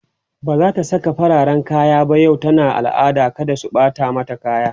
bazata Saka fararen kaya ba yau tana al'ada kada su Bata mata kaya